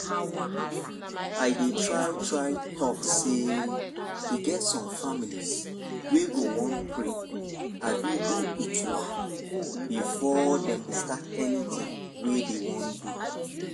i dey try try talk sey e get some families wey go wan pray abi do itual before dem stat anything wey dem wan do